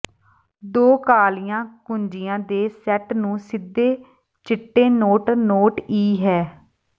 ਦੋ ਕਾਲੀਆਂ ਕੁੰਜੀਆਂ ਦੇ ਸੈੱਟ ਨੂੰ ਸਿੱਧੇ ਚਿੱਟੇ ਨੋਟ ਨੋਟ ਈ ਹੈ